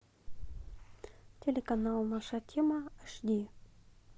телеканал наша тема аш ди